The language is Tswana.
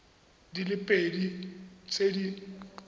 di le pedi tse di